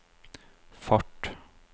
fart